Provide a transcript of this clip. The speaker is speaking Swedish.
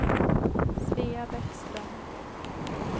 Svea Bäckström